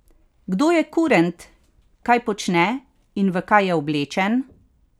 Kdo je kurent, kaj počne in v kaj je oblečen?